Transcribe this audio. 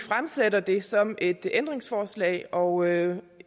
stiller det som et ændringsforslag og